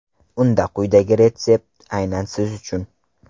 Unda quyidagi retsept aynan siz uchun!